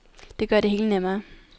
Det gør det hele nemmere.